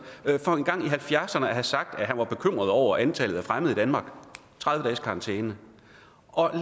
for engang i nitten halvfjerdserne at have sagt at han var bekymret over antallet af fremmede i gav tredive dages karantæne